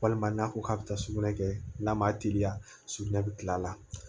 Walima n'a ko k'a bɛ taa sugunɛ kɛ n'a ma teliya sugunɛ bɛ kila la